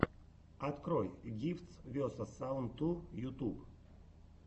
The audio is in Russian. открой гифтс весос саунд ту ютуб